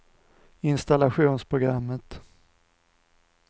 installationsprogrammet